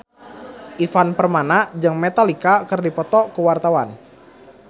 Ivan Permana jeung Metallica keur dipoto ku wartawan